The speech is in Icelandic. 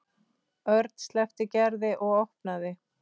Örn sleppti Gerði og opnaði.